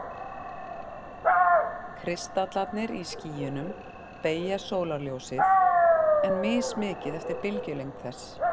Kristallarnir í skýjunum beygja sólarljósið, en mismikið eftir bylgjulengd þess.